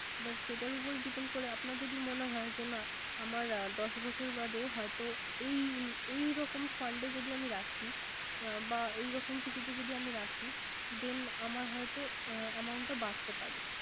এবার সেটার উপর Depend করে আপনার যদি মনে হয়। যে না আমার দশ বছর বাধে এই ‌এই রকম fund এ যদি আমি রাখি। বা এই রকম কিছুতে যদি আমি রাখি then আমার হয়ত amount টা বারতে পারে।